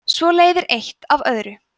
svo leiðir eitt af öðru